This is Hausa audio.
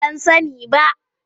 Ban sani ba.